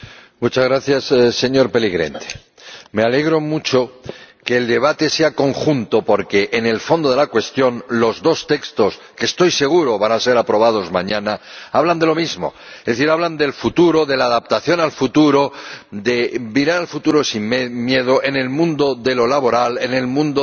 Señor Presidente, me alegro mucho de que el debate sea conjunto porque, en el fondo de la cuestión, los dos textos —que estoy seguro van a ser aprobados mañana— hablan de lo mismo. Es decir, hablan del futuro, de la adaptación al futuro, de mirar al futuro sin miedo en el mundo laboral, en el mundo de la iniciativa,